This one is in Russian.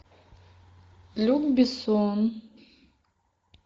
люк бессон